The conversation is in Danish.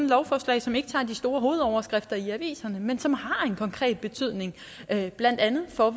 lovforslag som ikke tager de store hovedoverskrifter i aviserne men som har en konkret betydning blandt andet for